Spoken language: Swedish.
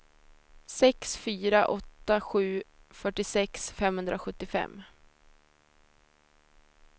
sex fyra åtta sju fyrtiosex femhundrasjuttiofem